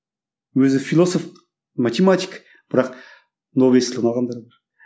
өзі философ математик бірақ нобель сыйлығын алғандар бар